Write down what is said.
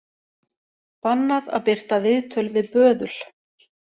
Bannað að birta viðtöl við böðul